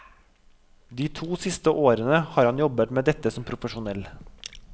De to siste årene har han jobbet med dette som profesjonell.